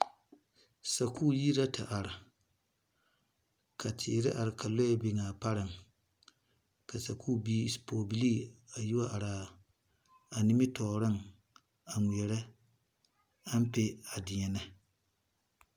Sakuu yiri la te arẽ ka teere arẽ ka lɔɛ arẽ ka sakuu biiri bipogebilii a yi wa araa nimitooring a ngmeɛri ampɛ a deɛne.